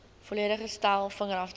volledige stel vingerafdrukke